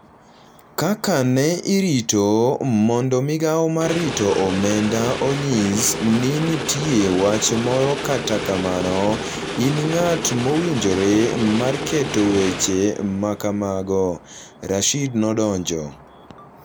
Kaka ne irito mondo migao mar rito Omenda onyis ni nitie wach moro kata kamano in ng’at mowinjore mar keto weche ma kamago, Rashid nodonjo.